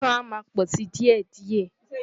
Ìkan a máa pò si díè díè.